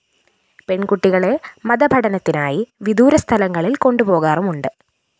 പെണ്‍കുട്ടികളെ മതപഠനത്തിനായി വിദൂരസ്ഥലങ്ങളില്‍ കൊണ്ടുപോകാറുമുണ്ട്